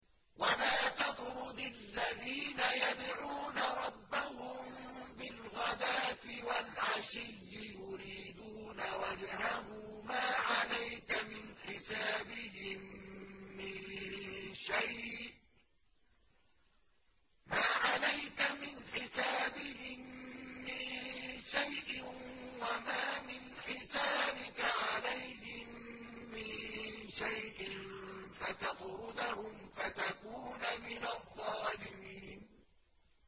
وَلَا تَطْرُدِ الَّذِينَ يَدْعُونَ رَبَّهُم بِالْغَدَاةِ وَالْعَشِيِّ يُرِيدُونَ وَجْهَهُ ۖ مَا عَلَيْكَ مِنْ حِسَابِهِم مِّن شَيْءٍ وَمَا مِنْ حِسَابِكَ عَلَيْهِم مِّن شَيْءٍ فَتَطْرُدَهُمْ فَتَكُونَ مِنَ الظَّالِمِينَ